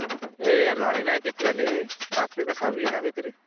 ए अर झाले नारे किती झाले ए, पाचवी का सहावी ए ना काई तरी